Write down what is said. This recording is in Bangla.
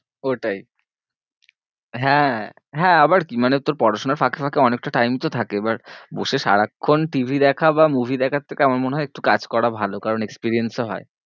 ওটাই হ্যাঁ হ্যাঁ আবার কি মানে তোর পড়াশোনার ফাঁকে ফাঁকে অনেকতা time তো থাকে এবার বসে সারাক্ষন T. V. দেখা বা movie দেখার থেকে আমার মনে হয়ে একটু কাজ করা ভালো কারণ experience ও হয়ে।